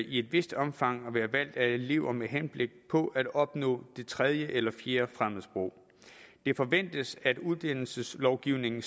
i et vist omfang at være valgt af elever med henblik på at opnå det tredje eller fjerde fremmedsprog det forventes at uddannelseslovgivningen